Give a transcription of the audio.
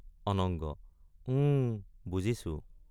অনঙ্গ—ওঁ বুজিছো।